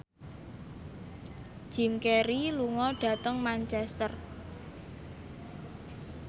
Jim Carey lunga dhateng Manchester